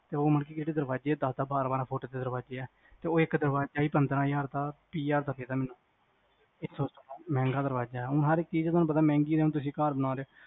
ਉਹ ਮਤਲਬ ਕ ਜਿਹੜੇ ਦਰਵਾਜ਼ੇ ਆ ਉਹ ਦਸ -ਦਸ ਬਾਰਾਂ ਫੁੱਟ ਦੇ ਦਰਵਾਜ਼ੇ ਆ ਤੇ ਉਹ ਇੱਕ ਦਰਵਾਜ਼ਾ ਈ ਪੰਦਰਾਂ ਹਜ਼ਾਰ ਦਾ ਇਸ ਤੋਂ ਮਹਿੰਗਾ ਦਰਵਾਜ਼ਾ ਐ ਹੁਣ ਹਰ ਇਕ ਚੀਜ਼ ਮਹਿੰਗੀ ਘਰ ਬਣਾ ਰਹਿਓ